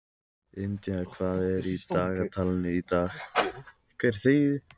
India, hvað er á dagatalinu í dag?